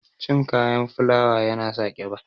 Cin kayan fulawa ya na sa ƙiba.